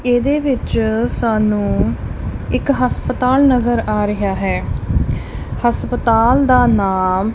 ਏਹਦੇ ਵਿੱਚ ਸਾਨੂੰ ਇੱਕ ਹਸਪਤਾਲ ਨਜ਼ਰ ਆ ਰਿਹਾ ਹੈ ਹਸਪਤਾਲ ਦਾ ਨਾਮ--